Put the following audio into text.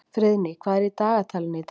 Friðný, hvað er í dagatalinu í dag?